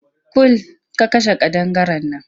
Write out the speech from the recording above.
Kul! ka kashe ƙadangaren nan!